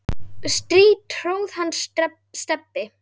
strý tróð hann Stebbi